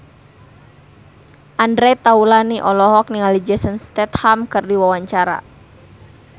Andre Taulany olohok ningali Jason Statham keur diwawancara